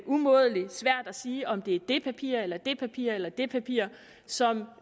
umådelig svært at sige om det er det papir eller det papir eller det papir som